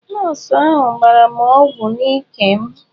Nọọsụ ahụ gbara m ọgwụ n'ike m.